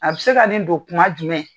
A bɛ se ka nin don kuma jumɛn.